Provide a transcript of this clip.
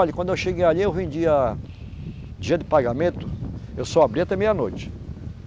Olhe, quando eu cheguei ali, eu vendia... Dia de pagamento, eu só abria até meia-noite.